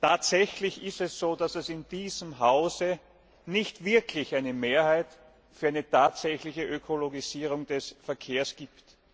Tatsächlich ist es so, dass es in diesem Hause nicht wirklich eine Mehrheit für eine tatsächliche Ökologisierung des Verkehrs gibt.